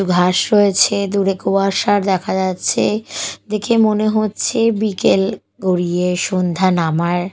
ঘাস রয়েছে দুরে কুয়াশা দেখা যাচ্ছে দেখে মনে হচ্ছে বিকেল গড়িয়ে সন্ধ্যা নামার--